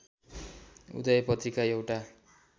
उदय पत्रिका एउटा